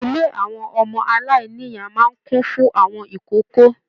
Ilé àwọn ọmọdé aláìníya máa n kún fún àwọn ìkókó.